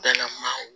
Dala maaw